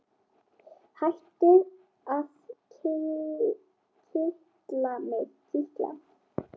Hættu að kitla mig.